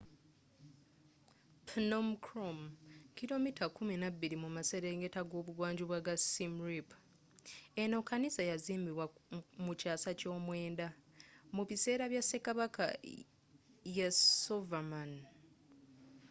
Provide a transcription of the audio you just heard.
phnom krom kilomita kumi n'abbiri mu maselengetta g'ebungwanjuba ga siem reap eno kanisa yazimbibwa mu kyasa ky'omwendda mu bisera bya sekabaka yasovarman